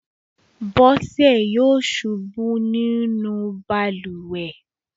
Bọ́sẹ̀ yọ̀ ṣubú nínú balùwẹ̀.